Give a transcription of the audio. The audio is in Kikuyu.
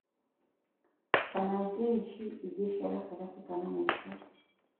kana jenshi inngĩ ciagatagatĩ kana mũico